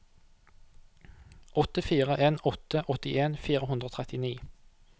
åtte fire en åtte åttien fire hundre og trettini